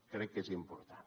crec que és important